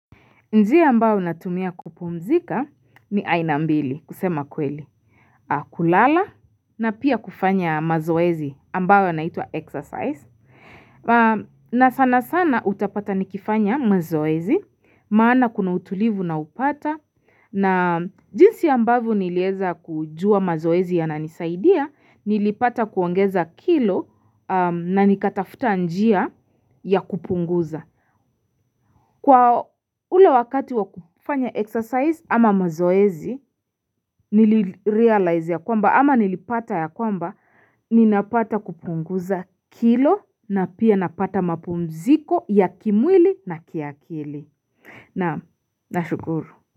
Njia ambayo natumia kupumzika ni aina mbili kusema kweli. Kulala na pia kufanya mazoezi ambayo yanaitwa exercise. Na sana sana utapata nikifanya mazoezi maana kuna utulivu ninaopata. Na jinsi ambavyo nilieza kujua mazoezi yananisaidia nilipata kuongeza kilo na nikatafuta njia ya kupunguza. Kwa ule wakati wa kufanya exercise ama mazoezi, nilirealize ya kwamba ama nilipata ya kwamba, ninapata kupunguza kilo na pia napata mapumziko ya kimwili na kiakili. Naam, nashukuru.